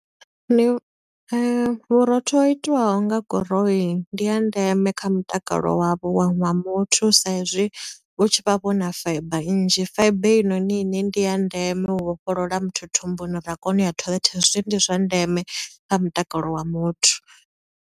Ni, vhurotho ho itiwaho nga guroini, ndi ha ndeme kha mutakalo wavho wa wa muthu, sa i zwi hu tshi vha vhu na fibre nnzhi. Fibre heinoni i ne ndi ya ndeme, u vhofholola muthu thumbuni uri a kone u ya toilet, hezwi ndi zwa ndeme kha mutakalo wa muthu.